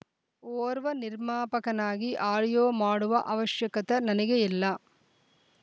ಓರ್ವ ನಿರ್ಮಾಪಕನಾಗಿ ಆಡಿಯೋ ಮಾಡುವ ಅವಷಕತೆ ನನಗೆ ಇಲ್ಲ